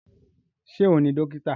Ṣé òun ni dókítà?